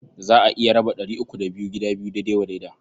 Za a iya raba ɗari uku da biyu gida biyu daidai wa daida.